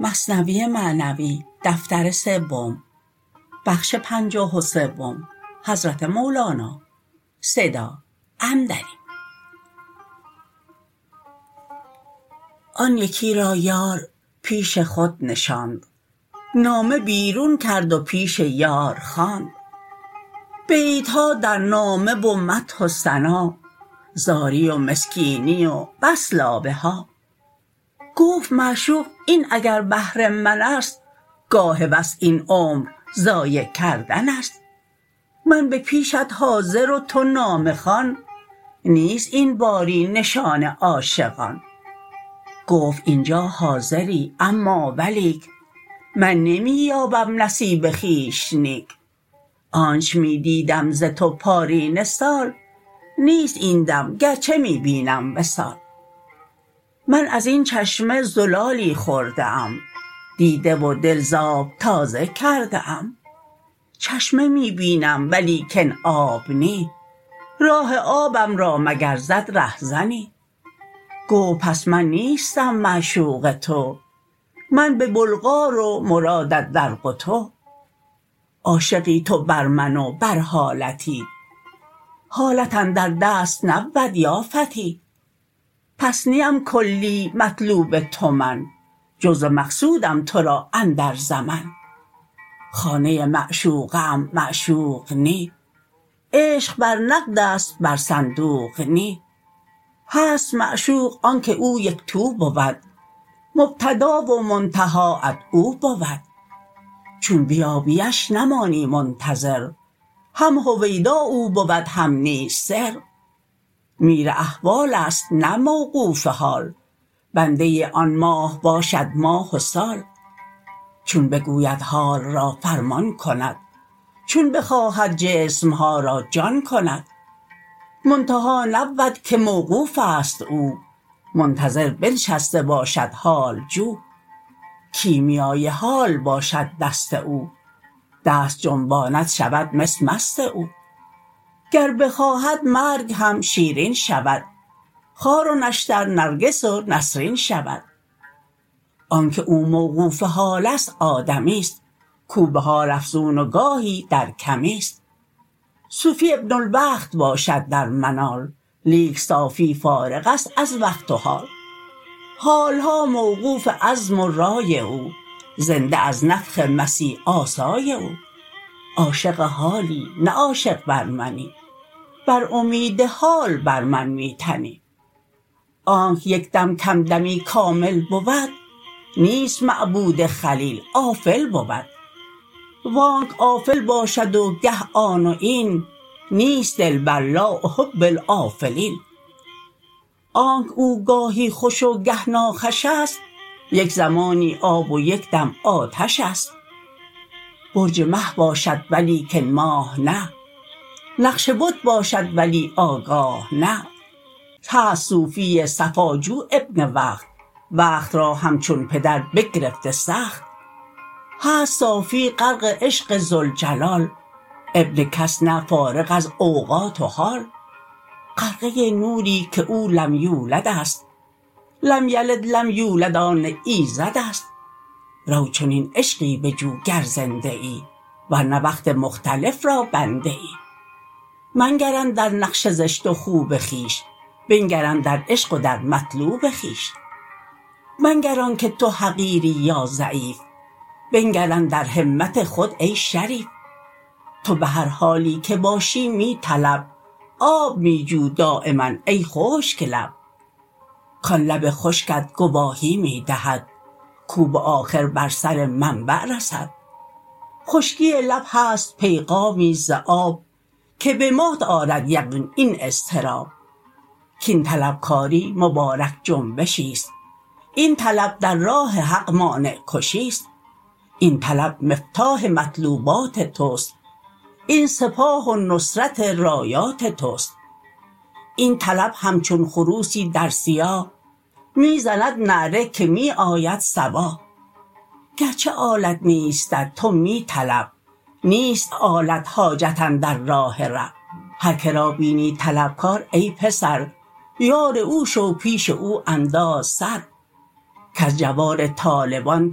آن یکی را یار پیش خود نشاند نامه بیرون کرد و پیش یار خواند بیت ها در نامه و مدح و ثنا زاری و مسکینی و بس لابه ها گفت معشوق این اگر بهر من ست گاه وصل این عمر ضایع کردن ست من به پیشت حاضر و تو نامه خوان نیست این باری نشان عاشقان گفت اینجا حاضری اما ولیک من نمی یایم نصیب خویش نیک آنچ می دیدم ز تو پارینه سال نیست این دم گرچه می بینم وصال من ازین چشمه زلالی خورده ام دیده و دل ز آب تازه کرده ام چشمه می بینم ولیکن آب نی راه آبم را مگر زد ره زنی گفت پس من نیستم معشوق تو من به بلغار و مرادت در قتو عاشقی تو بر من و بر حالتی حالت اندر دست نبود یا فتی پس نیم کلی مطلوب تو من جزو مقصودم تو را اندر زمن خانه معشوقه ام معشوق نی عشق بر نقدست بر صندوق نی هست معشوق آنک او یکتو بود مبتدا و منتهاات او بود چون بیابی اش نمانی منتظر هم هویدا او بود هم نیز سر میر احوالست نه موقوف حال بنده آن ماه باشد ماه و سال چون بگوید حال را فرمان کند چون بخواهد جسم ها را جان کند منتها نبود که موقوف ست او منتظر بنشسته باشد حال جو کیمیای حال باشد دست او دست جنباند شود مس مست او گر بخواهد مرگ هم شیرین شود خار و نشتر نرگس و نسرین شود آنکه او موقوف حالست آدمی ست کاو به حال افزون و گاهی در کمی ست صوفی ابن الوقت باشد در منال لیک صافی فارغ ست از وقت و حال حال ها موقوف عزم و رای او زنده از نفخ مسیح آسای او عاشق حالی نه عاشق بر منی بر امید حال بر من می تنی آنک یک دم کم دمی کامل بود نیست معبود خلیل آفل بود وانک آفل باشد و گه آن و این نیست دلبر لا احب الافلین آنک او گاهی خوش و گه ناخوش ست یک زمانی آب و یک دم آتش ست برج مه باشد ولیکن ماه نه نقش بت باشد ولی آگاه نه هست صوفی صفاجو ابن وقت وقت را همچون پدر بگرفته سخت هست صافی غرق عشق ذوالجلال ابن کس نه فارغ از اوقات و حال غرقه نوری که او لم یولدست لم یلد لم یولد آن ایزدست رو چنین عشقی بجو گر زنده ای ورنه وقت مختلف را بنده ای منگر اندر نقش زشت و خوب خویش بنگر اندر عشق و در مطلوب خویش منگر آنک تو حقیری یا ضعیف بنگر اندر همت خود ای شریف تو به هر حالی که باشی می طلب آب می جو دایما ای خشک لب کان لب خشکت گواهی می دهد کاو بآخر بر سر منبع رسد خشکی لب هست پیغامی ز آب که بمات آرد یقین این اضطراب کاین طلب کاری مبارک جنبشی ست این طلب در راه حق مانع کشی ست این طلب مفتاح مطلوبات تست این سپاه و نصرت رایات تست این طلب همچون خروسی در صیاح می زند نعره که می آید صباح گرچه آلت نیستت تو می طلب نیست آلت حاجت اندر راه رب هر که را بینی طلب کار ای پسر یار او شو پیش او انداز سر کز جوار طالبان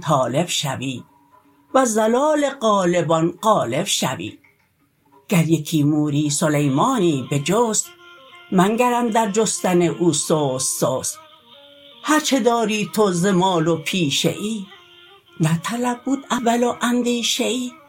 طالب شوی وز ظلال غالبان غالب شوی گر یکی موری سلیمانی بجست منگر اندر جستن او سست سست هرچه داری تو ز مال و پیشه ای نه طلب بود اول و اندیشه ای